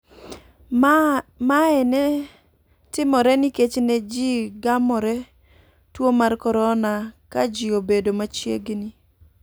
Mae ne timore nikech ne ji gamore tuo mar korona ka ji obedo machiegini.